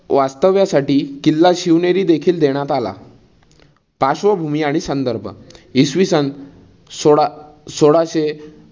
वास्तव्यासाठी किल्ला शिवनेरी देखील देण्यात आला. पार्श्वभूमी आणि संदर्भ इसवी सन सोळा सोळाशे